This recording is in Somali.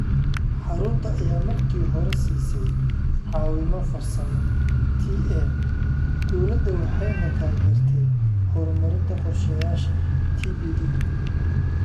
Xarunta ayaa markii hore siisay caawimo farsamo (TA) dawladda waxayna taageertay horumarinta qorshayaasha TPD.